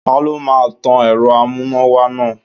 Ta ló máa tan èrò amúnáwá náà.